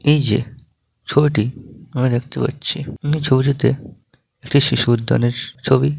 এই যে ছবিটি আমরা দেখতে পাচ্ছি এই ছবিটিতে একটি শিশু উদ্যানের ছবি ।